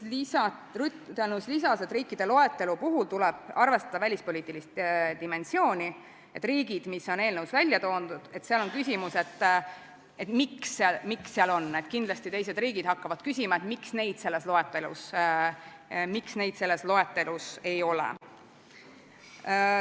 Ruth Annus lisas, et riikide loetelu puhul tuleb arvestada välispoliitilist dimensiooni, et eelnõus välja toodud riikide puhul on küsimus, miks need seal on, ja kindlasti teised riigid hakkavad küsima, miks neid selles loetelus ei ole.